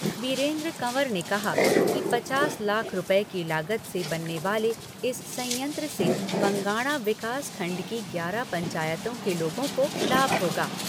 वीरेन्द्र कंवर ने कहा कि पचास लाख रूपये की लागत से बनने वाले इस संयंत्र से बंगाणा विकास खंड की ग्यारह पंचायतों के लोगों को लाभ होगा।